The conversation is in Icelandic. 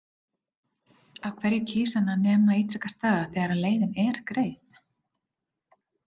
Af hverju kýs hann að nema ítrekað staðar þegar leiðin er greið?